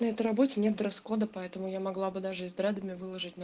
на этой работе нет дресс-кода поэтому я могла бы даже и с дредами выложить и